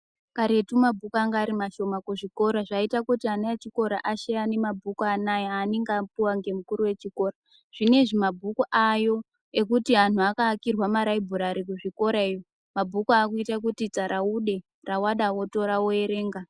Karetu mabhuku anga ari mashoma kuzvikora zvaiita kuti ana echikora asheyane mabhuku anaya aanenge apuwa ngemukuru wechikora. Zvinezvi mabhuku aayo. Vanhu vakavakirwa maraibhurari kuzvikorayo mabhuku aakuita kuti tsaraude, rawada wotora woerenga.